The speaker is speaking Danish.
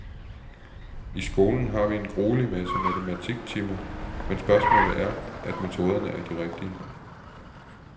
I skolen har vi en gruelig masse matematiktimer, men spørgsmålet er, at metoderne er de rigtige.